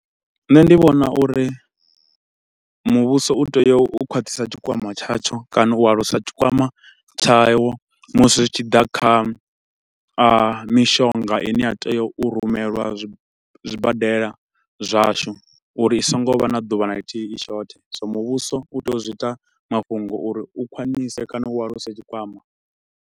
Nṋe ndi vhona uri muvhuso u tea u khwaṱhisa tshikwama tshatsho kana u alusa tshikwama tshawo musi zwi tshi ḓa kha ahm mishonga ine ya tea u rumelwa zwi zwibadela zwashu, uri i so ngo vha na ḓuvha na ḽithihi i shothe. So muvhuso u tea u zwi ita mafhungo uri u khwinise kana u alusa tshikwama.